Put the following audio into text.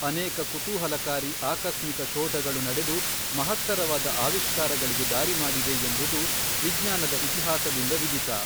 ಅನೇಕ ಕುತೂಹಲಕಾರಿ ಆಕಸ್ಮಿಕ ಶೋಧಗಳು ನಡೆದು ಮಹತ್ತರವಾದ ಆವಿಷ್ಕಾರಗಳಿಗೆ ದಾರಿ ಮಾಡಿವೆ ಎಂಬುದು ವಿಜ್ಞಾನದ ಇತಿಹಾಸದಿಂದ ವಿದಿತ.